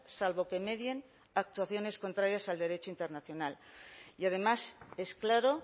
salvo que medien actuaciones contrarias al derecho internacional y además es claro